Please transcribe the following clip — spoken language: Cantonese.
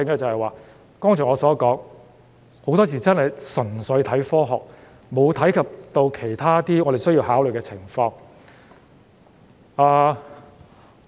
正如我剛才所說，一些決定很多時真是純粹看科學，沒有顧及其他需要考慮的情況。